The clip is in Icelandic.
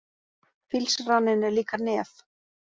Fílsraninn er líka nef.